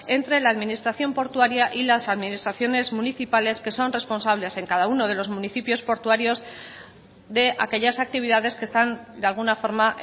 entre la administración portuaria y las administraciones municipales que son responsables en cada uno de los municipios portuarios de aquellas actividades que están de alguna forma